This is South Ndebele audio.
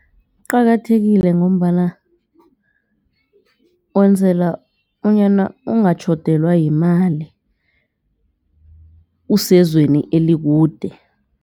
Kuqakathekile ngombana wenzela bonyana ungatjhodelwa yimali usezweni elikude.